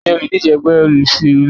Tani olùdíje ẹgbẹ́ olóṣèlú náà?